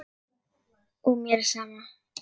Og mér er sama.